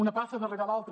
una passa darrere l’altra